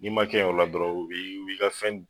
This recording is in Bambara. N'i ma kɛ yen o la dɔrɔn, u bi u bi ka fɛn